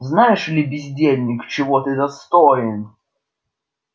знаешь ли бездельник чего ты достоин